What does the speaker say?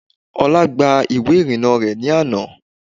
Olá gba ìwé ìrìnnà rẹ̀ ní àná